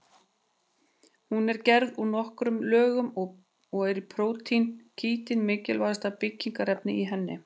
Hún er gerð úr nokkrum lögum og er prótínið kítín mikilvægasta byggingarefnið í henni.